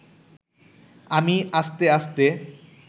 আমি আস্তে আস্তে